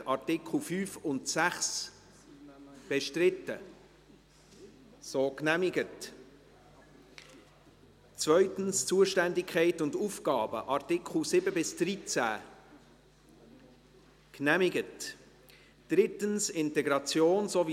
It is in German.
Sie haben dem Antrag der GSoK-Mehrheit den Vorzug geben, mit 97 Ja- gegen 43 NeinStimmen bei 0 Enthaltungen.